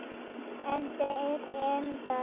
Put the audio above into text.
En þeir um það.